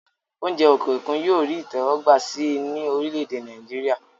oúnjẹ òkè òkun yóò rí ìtẹ́wọ́gbà sí i ní orílẹ̀-èdè Nàìjíríà